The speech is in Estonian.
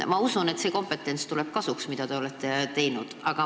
Ma usun, et see kompetentsus, mille te olete omandanud, tuleb kasuks.